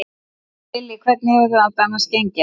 Lillý: Hvernig hefur þetta annars gengið?